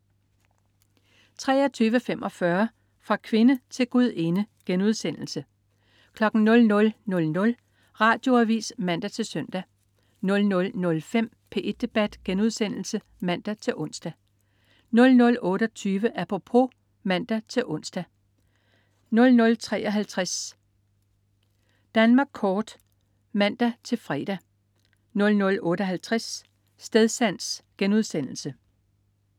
23.45 Fra kvinde til gudinde* 00.00 Radioavis (man-søn) 00.05 P1 Debat* (man-ons) 00.28 Apropos* (man-ons) 00.53 Danmark kort* (man-fre) 00.58 Stedsans*